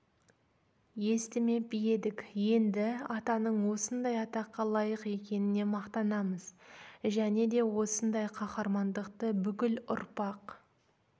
естімеп едік енді атаның осындай атаққа лайық екеніне мақтанамыз және де осындай қаһармандықты бүкіл ұрпақ